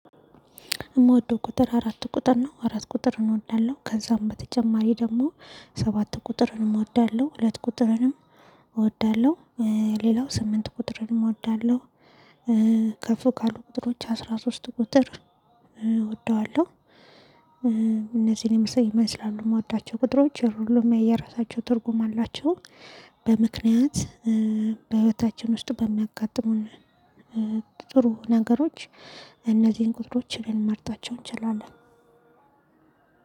የምወደው ቁጥር አራት ቁጥር ነው አራት ቁጥርን እወዳለሁ ከዛም በተጨማሪ ደግሞ ሰባት ቁጥርን እወዳለሁ ሁለት ቁጥርንም እወዳለሁ። ሌላው ስምንት ቁጥርንም እወዳለሁ። ከፍ ካሉ ቁጥሮች አስራ ሶስት ቁጥር እወደዋለሁ። እነዚህን ይመስላሉ የምወዳቸው ቁጥሮች የሁሉማ የየራሳቸው ትርጉም አላቸው። በምክንያት በህይወታችን ውስጥ በሚያጋጥሙን ጥሩ ነገሮች እነዚህን ቁጥሮች ልንመርጣቸው እንችላለን